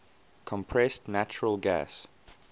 compressed natural gas